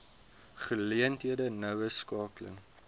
geleenthede noue skakeling